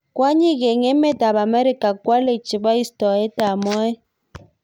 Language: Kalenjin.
Kwonyik eng emet ab Amerika kwolei chebo istoet ab moet.